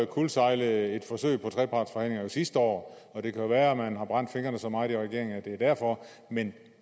kuldsejlede et forsøg på trepartsforhandlinger jo sidste år og det kan være at man har brændt fingrene så meget i regeringen at det er derfor men